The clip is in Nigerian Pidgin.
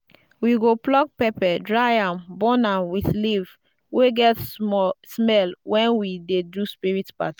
we go pluck pepper dry am burn am with leaf wey get smell when we dey do spirit party.